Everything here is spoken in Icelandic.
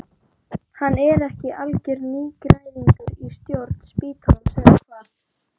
Hann er ekki algjör nýgræðingur í stjórn spítalans eða hvað?